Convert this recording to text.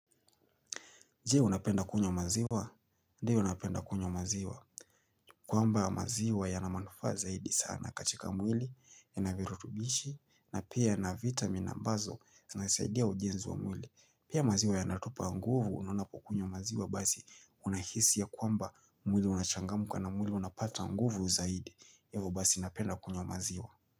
Je unapenda kunywa maziwa? Ndiyo unapenda kunyo maziwa. Kwamba maziwa yana manufaa zaidi sana. Katika mwili, yanavirutubishi, na pia yanavitamin ambazo, zinasaidia ujenzi wa mwili. Pia maziwa yanatupa nguvu, unapokunywa maziwa basi, unahisi ya kwamba mwili unachangamka na mwili unapata nguvu zaidi. Hivo basi napenda kunywa maziwa.